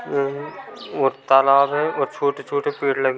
ह्म्म्म और तालाब है छोटे-छोटे पेड़ लगे हुए है।